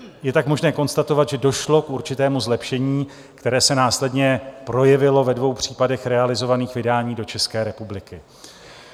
Je tak možné konstatovat, že došlo k určitému zlepšení, které se následně projevilo ve dvou případech realizovaných vydání do České republiky.